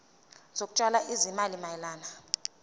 zokutshala izimali mayelana